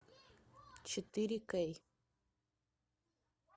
четыре кей